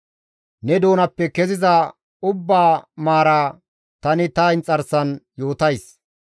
Ne doonappe keziza maara ubbaa tani ta inxarsan yootays.